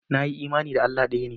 Na yi imani da Allah ɗaya.